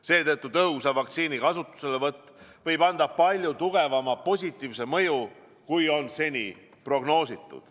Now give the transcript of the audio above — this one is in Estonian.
Seetõttu võib tõhusa vaktsiini kasutuselevõtt anda palju tugevama positiivse mõju, kui on seni prognoositud.